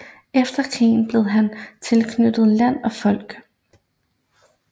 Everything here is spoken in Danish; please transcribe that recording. Efter krigen blev han tilknyttet Land og Folk